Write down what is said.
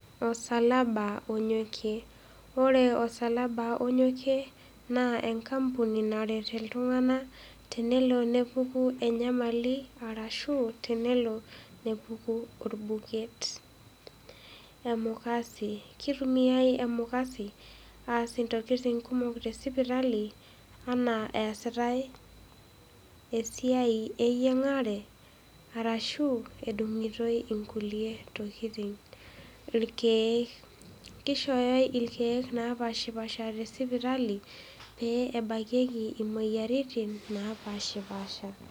osalaba onyokie ore osalaba onyokie naa enkampuni naret iltung'anak tenelo nelotu enyamali ashu enelo nepuku olbuket. kitumiai emukase asie ntokiting' kumok te sipitali enaa esiai eyiang'are ashu edung'itoi nkulie tokiting'.Kishori ilkeek tesipitali pebakieki moyiaritin napashipasha